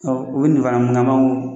Ɔ u ye nin fana mun kɛ an b'a fɔ ko